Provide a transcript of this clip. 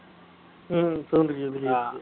உம் sound கேக்குது எனக்கு.